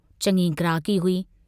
चङी ग्राहकी हुई।